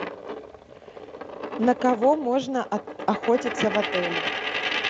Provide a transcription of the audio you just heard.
на кого можно охотиться в отеле